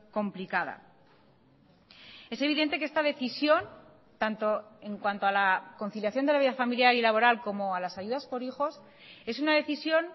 complicada es evidente que esta decisión tanto en cuanto a la conciliación de la vida familiar y laboral como a las ayudas por hijos es una decisión